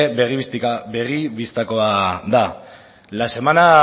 begi bistakoa da la semana